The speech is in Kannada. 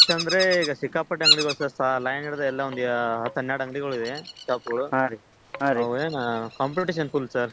rush ಅಂದ್ರೆ ಈಗ ಸಿಕ್ಕಾಪಟ್ಟೆ ಅಂಗಡಿಗಳು sir line ಹಿಡದು ಒಂದ್ ಹತ್ತ ಹನ್ನೆರಡ ಅಂಗಡಿಗಳಿವೆ ಹಾ ಅವೇನ competition full sir .